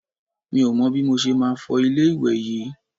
Mi ò mọ bí mo ṣe máa ṣe fọ ilé ìwẹ̀ yí.